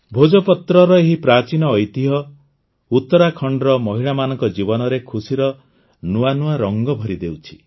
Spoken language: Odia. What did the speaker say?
ଭୋଜପତ୍ରର ଏହି ପ୍ରାଚୀନ ଐତିହ୍ୟ ଉତ୍ତରାଖଣ୍ଡର ମହିଳାମାନଙ୍କ ଜୀବନରେ ଖୁସିର ନୂଆ ନୂଆ ରଂଗ ଭରିଦେଉଛି